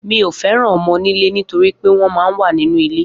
Mi o feran õmō-ònilé nítorí wípé wón man wa nínu ilé